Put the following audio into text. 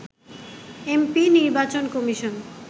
MP নির্বাচন commission